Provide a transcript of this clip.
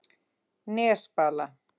Nesbala